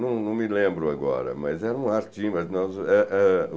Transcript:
Não não me lembro agora, mas era um ar teen mas nós eh eh.